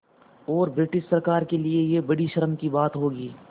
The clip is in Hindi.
और ब्रिटिश सरकार के लिये यह बड़ी शर्म की बात होगी